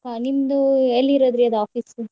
ನಿಮ್ದ ಎಲ್ಲಿರೋದ್ರಿ ಆದ್ office ?